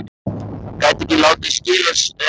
Gæti ekki látið skilja sig eftir.